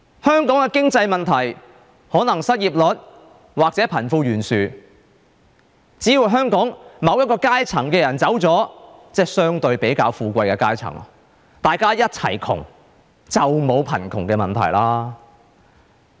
香港的經濟問題，可能是失業率或貧富懸殊，只要香港某一個階層的人走了，即相對比較富貴的階層走了，大家一齊窮，就沒有貧窮問題了。